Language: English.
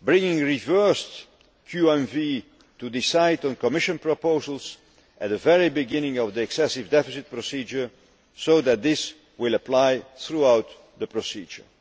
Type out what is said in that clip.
bringing revised QMV to decide on Commission proposals at the very beginning of the excessive deficit procedure so that this will apply throughout the procedure.